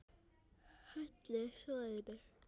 Hellið soðinu.